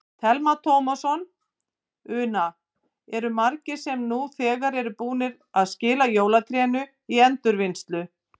Telma Tómasson: Una, eru margir sem eru nú þegar búnir að skila jólatrénu í endurvinnslu?